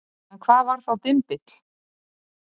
en hvað var þá dymbill